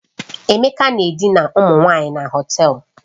Emeka na-edina ụmụ nwanyị na Họtelu